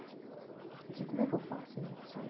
Eu disse, como é que eu faço, ein? Falou assim olha